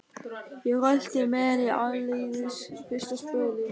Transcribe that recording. Ég rölti með henni áleiðis fyrsta spölinn.